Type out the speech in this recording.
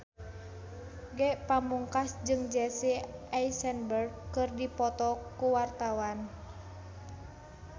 Ge Pamungkas jeung Jesse Eisenberg keur dipoto ku wartawan